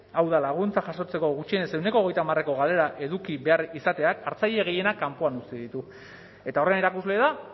hau da laguntza jasotzeko gutxienez ehuneko hogeita hamareko galera eduki behar izateak hartzaile gehienak kanpoan utzi ditu eta horren erakusle da